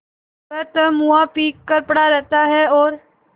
वह तो मुआ पी कर पड़ा रहता है और